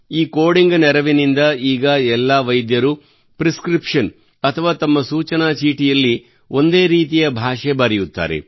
ಈ ಕೋಡಿಂಗ್ ನೆರವಿನಿಂದ ಈಗ ಎಲ್ಲಾ ವೈದ್ಯರು ಪ್ರಿಸ್ಕ್ರಿಪ್ಷನ್ ಅಥವಾ ತಮ್ಮ ಸೂಚನಾ ಚೀಟಿಯಲ್ಲಿ ಒಂದೇ ರೀತಿಯ ಭಾಷೆ ಬರೆಯುತ್ತಾರೆ